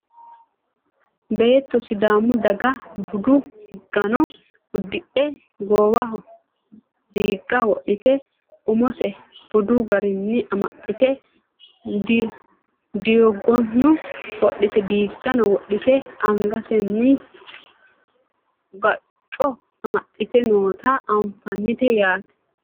beetto sidaamu daga budu uddano uddidhe goowaho diigga wodhite umose budu garinni amaxxite diigono wodhite angasenni gacco amaxxite noota anfannite yaate